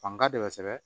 Fanga de bɛ sɛbɛn